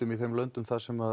í þeim löndum þar sem